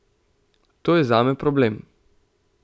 To je zame problem.